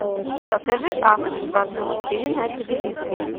покажи авто двадцать четыре на телевизоре